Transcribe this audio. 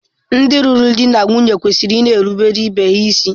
Ndị lụrụ di na nwunye kwesịrị ịna-erubere ibe ha isi.